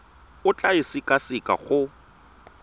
o tla e sekaseka go